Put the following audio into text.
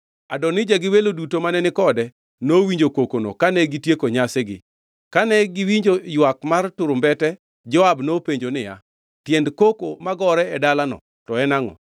Adonija gi welo duto mane ni kode nowinjo kokono kane gitieko nyasigi. Kane giwinjo ywak mar turumbete Joab nopenjo niya, “Tiend koko magore e dalano to en angʼo?”